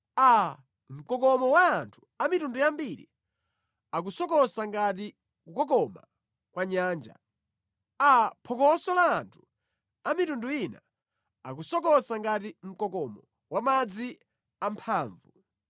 Aa, mkokomo wa anthu a mitundu yambiri, akusokosa ngati kukokoma kwa nyanja! Aa, phokoso la anthu a mitundu ina, akusokosa ngati mkokomo wa madzi amphamvu!